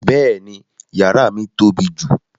Bẹ́ẹ̀ni, yàrà mi tó bí jù.